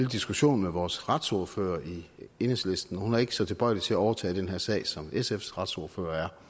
diskussion med vores retsordfører i enhedslisten hun er ikke så tilbøjelig til at overtage den her sag som sfs retsordfører